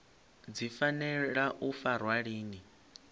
dzi fanela u farwa lini